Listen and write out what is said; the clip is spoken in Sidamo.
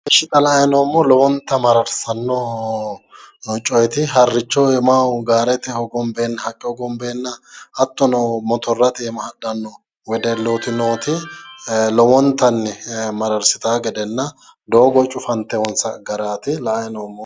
Ishshi xa la'anni noommohu lowontayi mararsanno coyeeti harricho iimaho gaaretenni hogonbeenna hattono motorrate hogonbeenna hadhanno wedellooti lowontanni mararsitanno gedenna doogo cufanteewoonsa garaati la'anni noommohu.